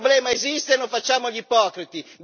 Il problema esiste, non facciamo gli ipocriti!